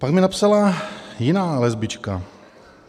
Pak mi napsala jiná lesbička.